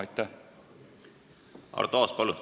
Arto Aas, palun!